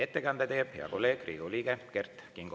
Ettekande teeb hea kolleeg, Riigikogu liige Kert Kingo.